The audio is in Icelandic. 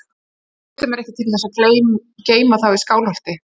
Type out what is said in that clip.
Og ég treysti mér ekki til þess að geyma þá í Skálholti.